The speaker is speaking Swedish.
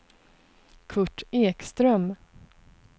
Kurt Ekström